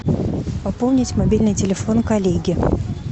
пополнить мобильный телефон коллеги